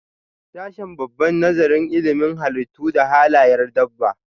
Sashen dabba Nazarin ilimin halittu da halayyar dabba.